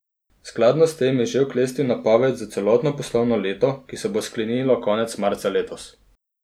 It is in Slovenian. Skladno s tem je že oklestil napoved za celotno poslovno leto, ki se bo sklenilo konec marca letos.